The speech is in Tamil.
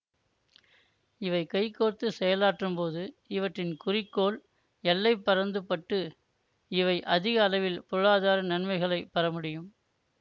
இவை கைகோர்த்துச் செயலாற்றும்போது இவற்றின் குறிக்கோள் எல்லை பரந்துபட்டு இவை அதிக அளவில் பொருளாதார நன்மைகளைப் பெற முடியும்